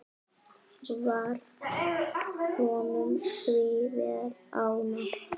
Varð honum því vel ágengt.